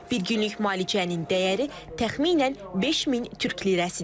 Bir günlük müalicənin dəyəri təxminən 5000 Türk lirəsidir.